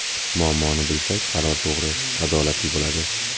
Muammoni bilsak, qaror to‘g‘ri, adolatli bo‘ladi.